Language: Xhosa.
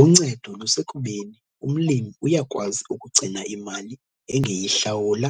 Uncedo lusekubeni umlimi uyakwazi ukugcina imali engeyihlawula